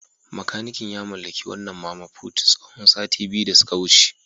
Makanikin ya mallaki wannan Mama Put tsawon sati biyu da suka wuce.